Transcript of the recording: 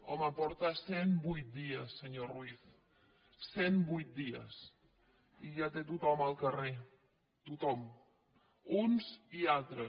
home porta cent vuit dies senyor ruiz cent vuit dies i ja té tothom al carrer tothom uns i altres